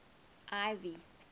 ivy